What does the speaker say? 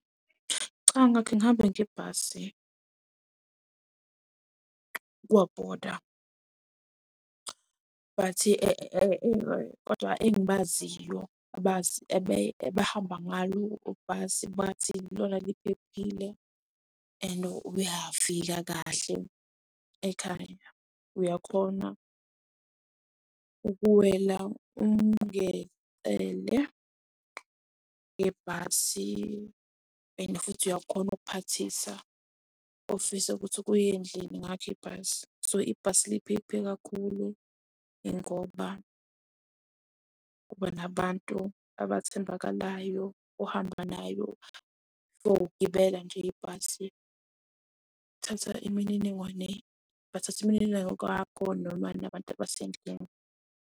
Cha, ngihambe ngebhasi but kodwa engibaziyo abahamba ngalo ibhasi bathi lona liphephile and uyafika kahle ekhaya. Uyakhona ukuwela ngebhasi and futhi uyakhona ukuphathisa ofisa ukuthi kuye endlini ngakho ibhasi. So ibhasi liphephe kakhulu, ingoba kuba nabantu abathembakalayo uhamba nabo ukuyogibela nje ibhasi bathathe imininingwane yakho noma nabantu abasendlini.